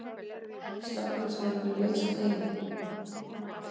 Slökkviliðsmenn vilja leysa deiluna